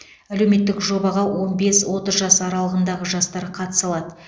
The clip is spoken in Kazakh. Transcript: әлеуметтік жобаға он бес отыз жас аралығындағы жастар қатыса алады